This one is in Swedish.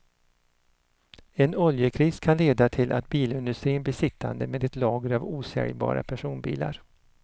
En oljekris kan leda till att bilindustrin blir sittande med ett lager av osäljbara personbilar.